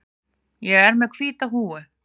Ég er með hvíta húfu.